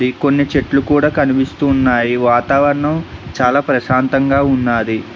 ఇ కొన్ని చెట్లు కూడా కనిపిస్తూ ఉన్నాయి వాతావరణం చాలా ప్రశాంతంగా ఉన్నాది.